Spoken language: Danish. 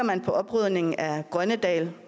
på oprydningen af grønnedal